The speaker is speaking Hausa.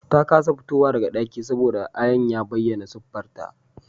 Ta kasa fitowa daga dakin saboda ayan ya bayyana siffarta